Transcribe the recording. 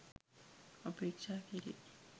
අපේක්ෂා කෙරේ.